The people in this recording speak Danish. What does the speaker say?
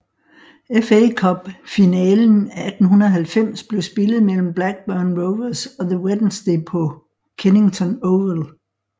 FA Cup finalen 1890 blev spillet mellem Blackburn Rovers og The Wednesday på Kennington Oval